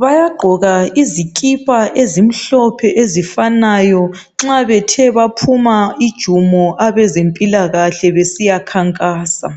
Bayagqoka izikipa ezimhlophe ezifananayo nxa Bethe baphuma ijumo abezempilakahle besiyakhankasa.